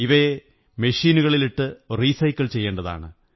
ഇവയെ മെഷീനുകളിലിട്ട് റീസൈക്കിൾ ചെയ്യേണ്ടതാണ്